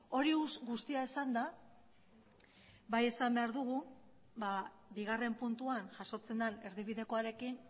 hori guztia esanda bai esan behar dugu bigarren puntuan jasotzen den erdibidekoarekin